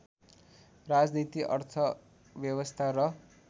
राजनीति अर्थव्यवस्था र